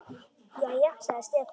Jæja, sagði Stefán.